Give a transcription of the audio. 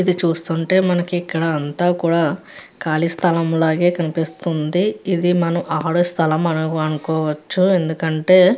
ఇక్కడ చూస్తుంటే మనకి ఇక్కడ అంతా కూడా ఖాళీ స్థలంలాగే అనిపిస్తుంది. ఇది మనం ఆడే స్థలం అనుకోవచ్చు. ఎందుకంటే--